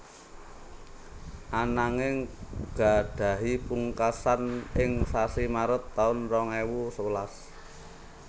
Ananging gadhahi pungkasan ing sasi Maret taun rong ewu sewelas